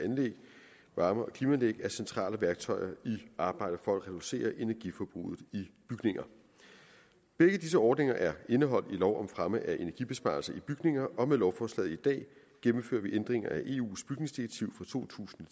varme og klimaanlæg er centrale værktøjer i arbejdet for at reducere energiforbruget i bygninger begge disse ordninger er indeholdt i lov om fremme af energibesparelse i bygninger og med lovforslaget i dag gennemfører vi ændringer af eus bygningsdirektiv for to tusind